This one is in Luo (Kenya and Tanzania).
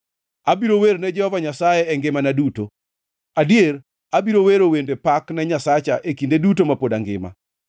Abiro wer ne Jehova Nyasaye e ngimana duto, adier, abiro wero wende pak ne Nyasacha e kinde duto ma pod angima.